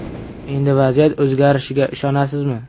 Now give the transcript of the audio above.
Endi vaziyat o‘zgarishiga ishonasizmi?